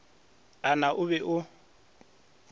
a na o be o